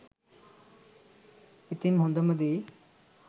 ඉතින් හොඳම දේ